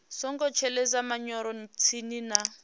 songo shelesa manyoro tsini na